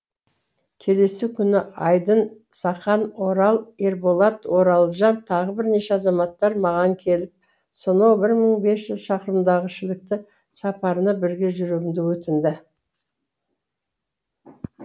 келесі күні айдын сақан орал ерболат оралжан тағы бірнеше азаматтар маған келіп сонау бір мың бес жүз шақырымдағы шілікті сапарына бірге жүруімді өтінді